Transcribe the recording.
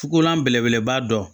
Fukolan belebeleba dɔ